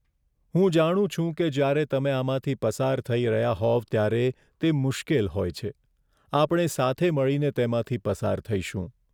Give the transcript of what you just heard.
હું જાણું છું કે જ્યારે તમે આમાંથી પસાર થઈ રહ્યા હોવ ત્યારે તે મુશ્કેલ હોય છે! આપણે સાથે મળીને તેમાંથી પસાર થઈશું.